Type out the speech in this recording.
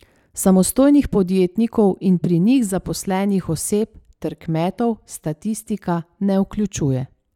Samostojnih podjetnikov in pri njih zaposlenih oseb ter kmetov statistika ne vključuje.